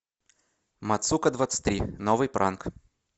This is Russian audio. мацука двадцать три новый пранк